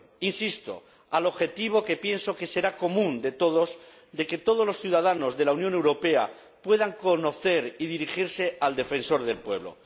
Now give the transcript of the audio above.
—insisto— al objetivo que, pienso, será común de todos, de que todos los ciudadanos de la Unión Europea puedan conocer y dirigirse al Defensor del Pueblo.